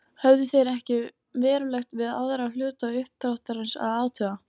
Höfðu þeir ekkert verulegt við aðra hluta uppdráttarins að athuga.